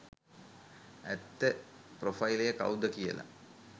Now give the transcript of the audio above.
ඇත්ත ප්‍රොෆයිලය කවුද කියලා